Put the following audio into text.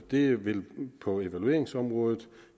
det vil på evalueringsområdet